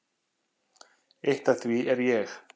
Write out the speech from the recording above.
Eitt af því er ég.